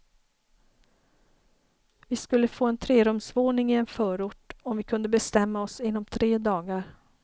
Vi skulle få en trerumsvåning i en förort, om vi kunde bestämma oss inom tre dagar.